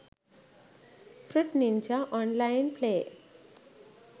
fruit ninja online play